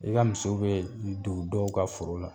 I ka misiw bɛ don dɔw ka foro la.